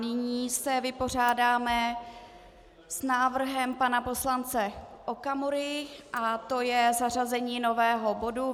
Nyní se vypořádáme s návrhem pana poslance Okamury a to je zařazení nového bodu